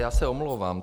Já se omlouvám.